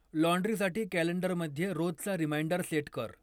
लॉन्ड्रीसाठी कॅलेंडरमध्ये रोजचा reminder set कर